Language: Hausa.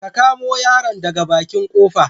Ka kamu yaron daga baƙin ƙofa.